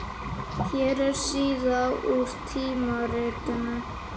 Hér er síða úr tímaritinu.